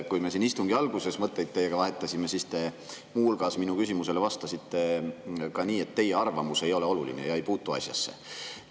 Kui me siin istungi alguses teiega mõtteid vahetasime, siis te minu küsimusele vastasite muu hulgas ka nii, et teie arvamus ei ole oluline ega puutu asjasse.